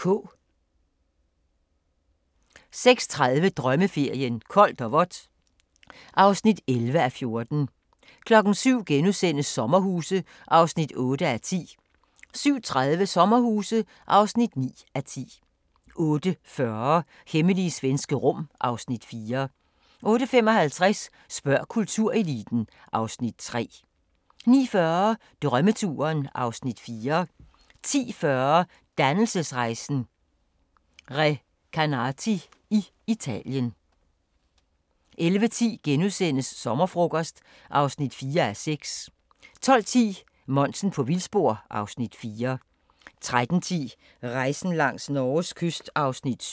06:30: Drømmeferien: Koldt og vådt (11:14) 07:00: Sommerhuse (8:10)* 07:30: Sommerhuse (9:10) 08:40: Hemmelige svenske rum (Afs. 4) 08:55: Spørg kultureliten (Afs. 3) 09:40: Drømmeturen (Afs. 4) 10:40: Dannelsesrejsen – Recanati i Italien 11:10: Sommerfrokost (4:6)* 12:10: Monsen på vildspor (Afs. 4) 13:10: Rejsen langs Norges kyst (7:10)